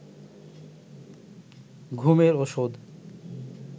ঘুমের ওষুধ